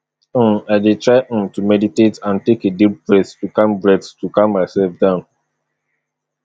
um i dey try um to meditate and take a deep breath to calm breath to calm myself down